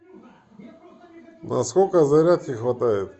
на сколько зарядки хватает